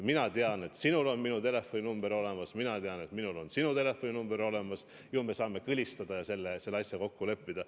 Mina tean, et sinul on minu telefoninumber olemas, minul on sinu telefoninumber olemas, ju me saame kõlistada ja selle asja kokku leppida.